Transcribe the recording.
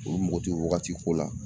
olu mago te o wagati ko la